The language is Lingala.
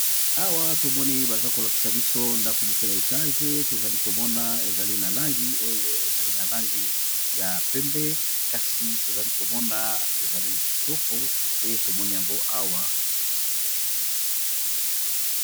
Awa to moni baza ko lakisa biso ndako moko ya etage tozali ko mona ezali na langi oyo ezali na langi ya pembe kasi tozali ko mona ezali kitoko nde tomoni yango awa .